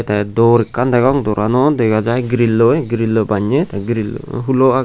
tey dor ekan degong doran wo dega jai grilloi baney grill hulo agey.